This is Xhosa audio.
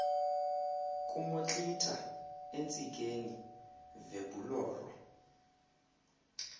kumotlitha entsikeni vebhuloro